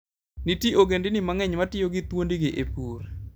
Nitie ogendini mang'eny ma tiyo gi thuondgi e pur.